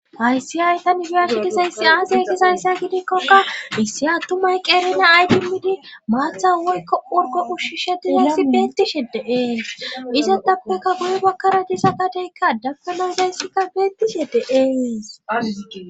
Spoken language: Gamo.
Aysi hayta nifersitisayssi aaxe gishayssa gidikkokka issi attumay qeerina aytimidi maatha woykko urgo ushisheti hissi bettishe deees isa tapupekka guyu bakkara disa qateykka dapkana dayssikka beettishe deees.